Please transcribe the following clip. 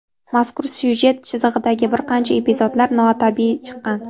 Mazkur syujet chizig‘idagi bir qancha epizodlar notabiiy chiqqan.